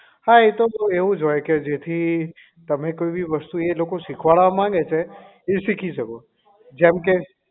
હા એતો બહુ એવું જ હોય જેથી તમે કોઈ બી વસ્તુ એ લોકો શીખવાડવા માંગે છે એ શીખી શકો જેમકે